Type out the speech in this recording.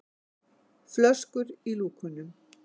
flöskur í lúkunum.